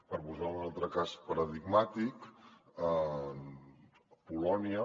per posar ne un altre cas paradigmàtic polònia